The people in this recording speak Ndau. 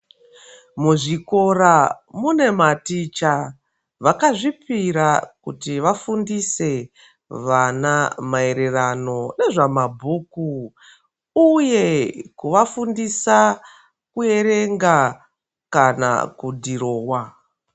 Muzvikora munematicha vakazvipira kuti vafundise vana maererano nezvamabhuku uye kuvafundisa kuerenga kana kudhirowa.